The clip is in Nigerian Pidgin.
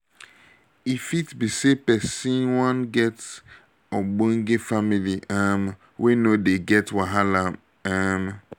um e fit be sey person wan get ogbonge family um wey no dey get wahala um